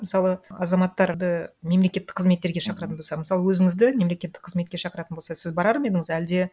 мысалы азаматтарды мемлекеттік қызметтерге шақыратын болса мысалы өзіңізді мемлекеттік қызметке шақыратын болса сіз барар ма едіңіз әлде